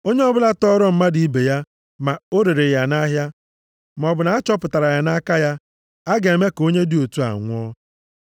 “Onye ọbụla tọọrọ mmadụ ibe ya, ma o rere ya nʼahịa, maọbụ na a chọpụtara ya nʼaka ya, a ga-eme ka onye dị otu a nwụọ.